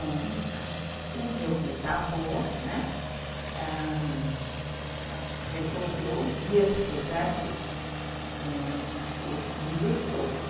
O meu bisavô, né, ãh... resolveu vir para o Brasil com os filhos todos.